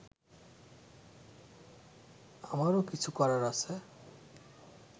আমারও কিছু করার আছে